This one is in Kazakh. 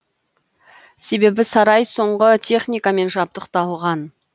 себебі сарай соңғы техникамен жабдықталған